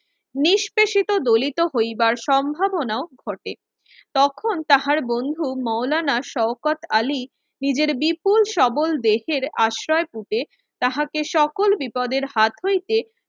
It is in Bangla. নিষ্প্রেসিত দলীত হইবার সম্ভাবনাও ঘটে। তখন তাহার বন্ধু মাওলানা শওকাত আলী নিজের বিপুল সবল দেহের আশ্রয় কুঠে তাহাকে সকল বিপদের হাত হইতে